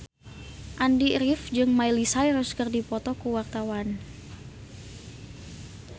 Andy rif jeung Miley Cyrus keur dipoto ku wartawan